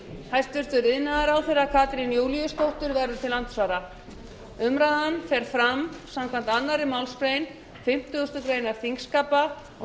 hæstvirtur iðnaðarráðherra katrín júlíusdóttir verður til andsvara umræðan fer fram samkvæmt annarri málsgrein fimmtugustu grein þingskapa og